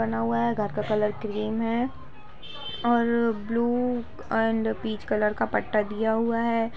बना हुआ है घर का कलर क्रीम है और ब्लू और अंदर पिच कलर का पत्ता दिया हुआ है।